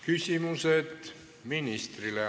Küsimused ministrile.